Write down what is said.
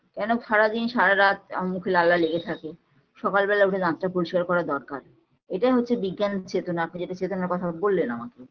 কেন সারাদিন সারারাত আমার মুখে লালা লেগে থাকে সকাল বেলা উঠে দাঁতটা পরিস্কার করা দরকার এটা হচ্ছে বিজ্ঞান চেতনা আপনি যেটা চেতনার কথা বললেন আমাকে